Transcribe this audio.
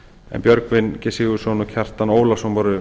en björgvin g sigurðsson og kjartan ólafsson voru